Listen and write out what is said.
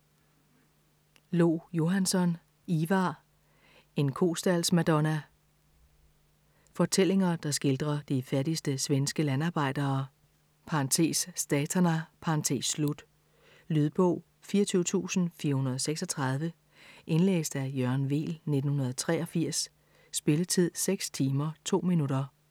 Lo-Johansson, Ivar: En kostaldsmadonna Fortællinger, der skildrer de fattigste svenske landarbejdere (statarna). Lydbog 24436 Indlæst af Jørgen Weel, 1983. Spilletid: 6 timer, 2 minutter.